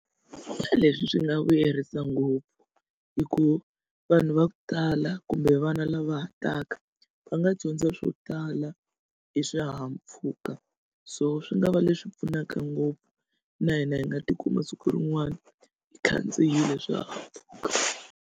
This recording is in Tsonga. Leswi swi nga vuyerisa ngopfu hi ku vanhu va ku tala kumbe vana lava ha taka va nga dyondza swo tala hi swihahampfhuka so swi nga va leswi pfunaka ngopfu na hina hi nga tikuma siku rin'wana hi khandziyile swihahampfhuka.